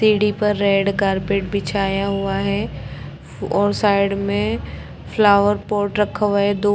सीढ़ी पर red carpet बिछाया हुआ है और साइड मे फ्लावर पोट रखा हुआ है दो।